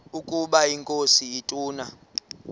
ukaba inkosi ituna